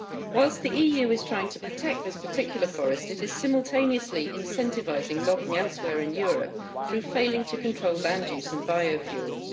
Whilst the EU is trying to protect this particular forest, it is simultaneously incentivising logging elsewhere in Europe through failing to control land use and biofuels.